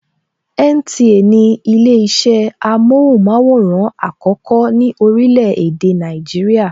NTA ni ile isẹ amóhùnmaworan àkọ́kọ́ ní orílè èdè Nàìjíríà.